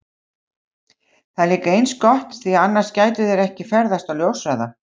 Það er líka eins gott því að annars gætu þær ekki ferðast á ljóshraða!